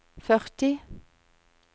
førti